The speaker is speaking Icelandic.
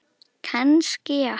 Kannski já.